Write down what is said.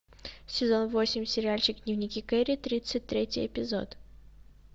сезон восемь сериальчик дневники кэрри тридцать третий эпизод